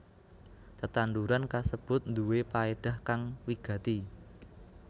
Tetanduran kasebut nduwé paédah kang wigati